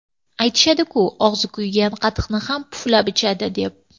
Aytishadi-ku, og‘zi kuygan qatiqni ham puflab ichadi, deb.